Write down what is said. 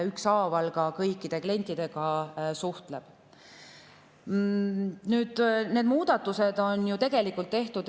Sotsiaalkindlustusamet ükshaaval suhtleb kõikide klientidega.